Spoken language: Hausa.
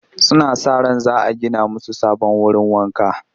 Suna sa ran za a gina musu sabon wurin wanka